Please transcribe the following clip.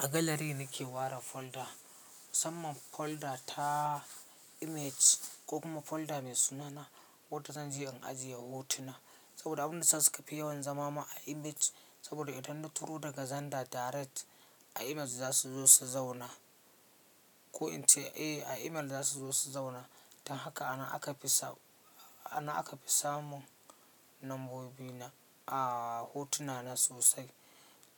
A gallery nake ware folder, musamman ma folder ta image ko kuma folder mai sunana wadda zan je in ajiye hotuna saboda abin da ya sa su ka fi yawan zamama a image saboda idan na turo daga zanda direct a email za su zo su zauna ko in ce eh a email za su zo su zauna. Don haka ana aka fi samun lambobi na a hotuna na sosai.